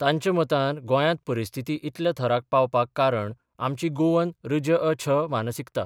तांच्या मतान गोंयांत परिस्थिती इतल्या थराक पावपाक कारण आमची गोवन ऋजअ छ मानसिकता.